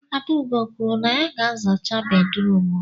Adaugo kwuru na ya ga-azacha bedrum m